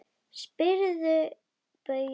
Spyrðu Bauju!